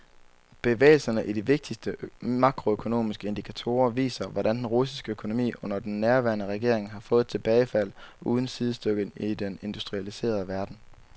Bevægelserne i de vigtigste makroøkonomiske indikatorer viser, hvordan den russiske økonomi under den nuværende regering har fået et tilbagefald uden sidestykke i den industrialiserede verden.